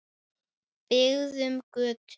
Byggðum götu.